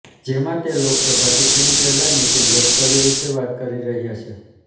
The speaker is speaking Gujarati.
જેમાં તે લોકસભા ચૂંટણી પહેલા નિતિન ગડકરી વિશે વાત કરી રહ્યા છે